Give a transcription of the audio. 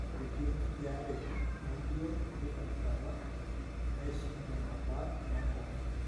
etii enkiti are nalio teina rishata naisuj nena bat enkong'u